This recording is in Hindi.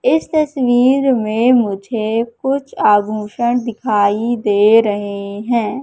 इस तस्वीर में मुझे कुछ आभूषण दिखाई दे रहे है।